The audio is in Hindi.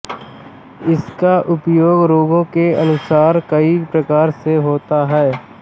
इसका प्रयोग रोगों के अनुसार कई प्रकार से होता है